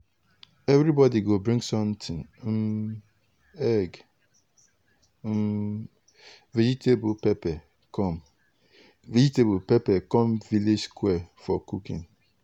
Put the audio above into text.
everybody go bring something um egg um vegetable pepper come vegetable pepper come village square for cooking.